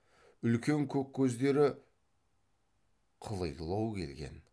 үлкен көк көздері қылилау келген